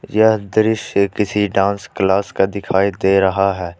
यह दृश्य किसी डांस क्लास का दिखाई दे रहा है।